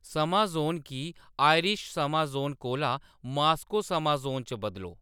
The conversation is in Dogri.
समां ज़ोन गी आयरिश समां ज़ोन कोला मास्को समां ज़ोन च बदलो